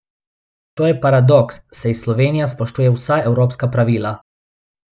To je paradoks, saj Slovenija spoštuje vsa evropska pravila.